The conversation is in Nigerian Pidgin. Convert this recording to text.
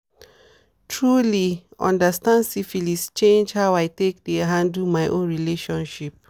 truely understand syphilis change how i dey handle my own relationships."